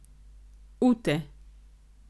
Ute.